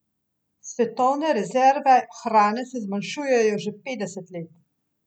Svetovne rezerve hrane se zmanjšujejo že petdeset let.